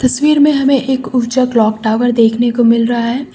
तस्वीर में हमें ऊंचा क्लॉक टावर देखने को मिल रहा है।